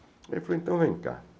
Ele falou, então vem cá.